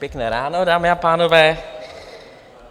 Pěkné ráno, dámy a pánové.